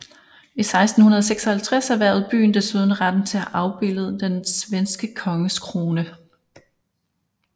I 1656 erhvervede byen desuden retten til at afbilde den svenske konges krone